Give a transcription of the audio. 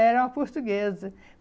Era uma portuguesa.